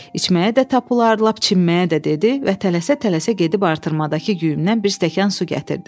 İçməyə də tapılar, lap çimməyə də dedi və tələsə-tələsə gedib artırmadakı quyumdan bir stəkan su gətirdi.